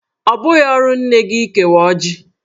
Ọ bụghị ọrụ nne gi ịkewa ọjị.